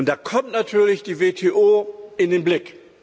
Da kommt natürlich die WTO in den Blick.